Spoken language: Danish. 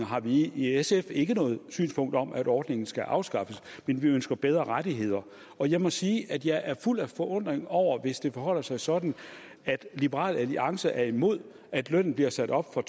har vi i sf ikke noget synspunkt om at ordningen skal afskaffes men vi ønsker bedre rettigheder jeg må sige at jeg er fuld af forundring over det hvis det forholder sig sådan at liberal alliance er imod at lønnen bliver sat op fra